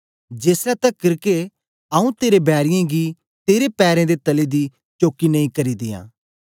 जेसलै तकर के आंऊँ तेरे बैरीयें गी तेरे पैरें दे तले दी चौकी नेई करी दियां